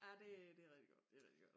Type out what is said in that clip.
Ja det det rigtig godt det rigtig godt